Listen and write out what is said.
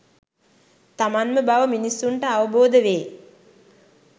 තමන්ම බව මිනිස්සුන්ට අවබෝධ වේ.